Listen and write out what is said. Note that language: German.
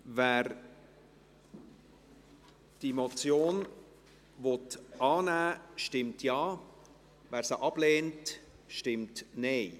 Wer diese Motion annehmen will, stimmt Ja, wer sie ablehnt, stimmt Nein.